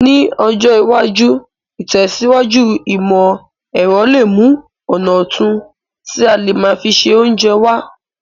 Ní ọjọ́ iwájú, ìtẹ̀síwájú ìmọ̀ èrọ le mu ọ̀nà otun ti a le má fi se ounje wa